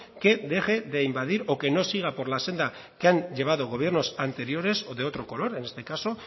que deje de invadir o que no siga por la senda que han llevado gobiernos anteriores o de otro color en este caso